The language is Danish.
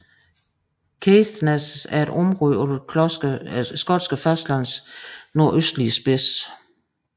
Caithness er et område på det skotske fastlands nordøstlige spids